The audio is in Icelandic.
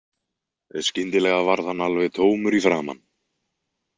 Skyndilega varð hann alveg tómur í framan.